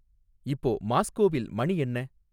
இப்போ மாஸ்க்கோவில் மணி என்ன